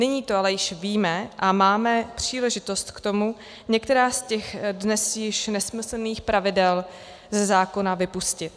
Nyní to ale již víme a máme příležitost k tomu některá z těch dnes již nesmyslných pravidel ze zákona vypustit.